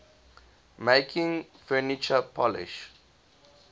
making furniture polish